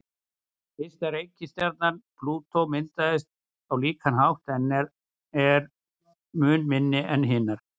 Ysta reikistjarnan, Plútó, myndaðist á líkan hátt en er mun minni en hinar.